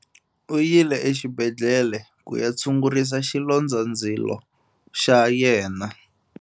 U yile exibedhlele ku ya tshungurisa xilondzandzilo xa yena.